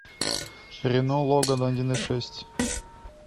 рено логан один и шесть